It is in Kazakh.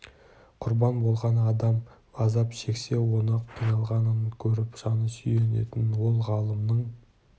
құрбан болатын адам азап шексе оның қиналғанын көріп жаны сүйінетін ол ғалымның